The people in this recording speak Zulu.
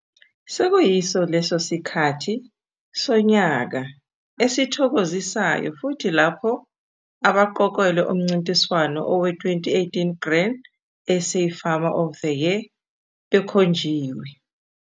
Seyiso leso sikhathi sonyaka esithokozisayo futhi lapho abaqokelwe umncintiswano owe-2018 Grain SA Farmer of the Year bekhonjiwe.